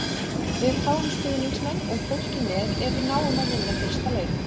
Við fáum stuðningsmenn og fólkið með ef við náum að vinna fyrsta leik.